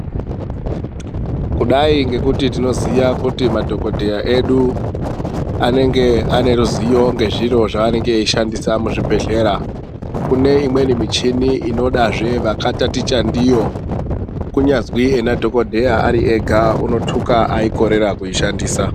Kudai ngekuti tinoziya kuti madhokoteya edu anenge ane ruziyo ngezviro zvaanenge eishandisa muzvibhehlera, kune imweni michini inodazve vakataticha ndiyo kunyazwi ena dhokoteya unotuka akorera kuishandisa.